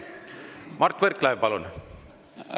Mart Võrklaev, palun!